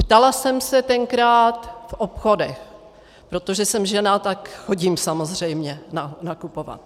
Ptala jsem se tenkrát v obchodech, protože jsem žena, tak chodím samozřejmě nakupovat.